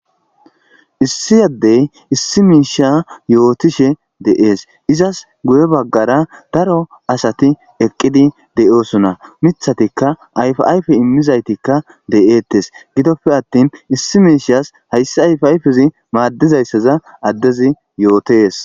issi yaddey issi miisha yootishe de7ees izas guye baggara daro asati eqqidi de7oosona mithatikka ayfa ayfe immizaytikka de7eettes gidoppe attin issi miishas hayssi ayf ayfezi maaddizayssaza addezi yootees